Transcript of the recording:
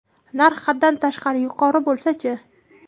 Narx haddan tashqari yuqori bo‘lsa-chi?